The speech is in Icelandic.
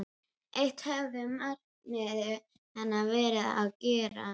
Eitt höfuðmarkmið hennar var að gera